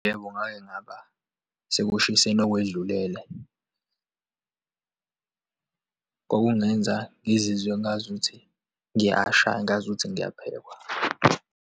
Yebo, ngake ngaba sekushiseni okwedlulele, kwakungenza ngizizwe ngazuthi ngiyasha, ngazuthi ngiyaphekwa.